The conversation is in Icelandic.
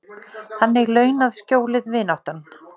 Þannig launað skjólið, vináttan.